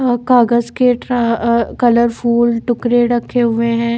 और कागज के ट्रा कलर फुल टुकड़े रखे हुवे हैं।